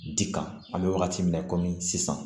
Di kan an bɛ wagati min na komi sisan